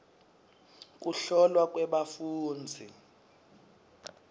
kuhlolwa kwebafundzi